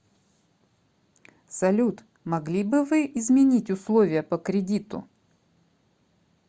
салют могли бы вы изменить условия по кредиту